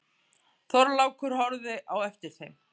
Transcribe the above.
Þorlákur horfði á eftir þeim.